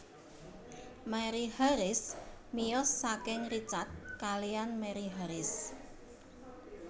Mary Harris miyos saking Richard kaliyan Mary Haris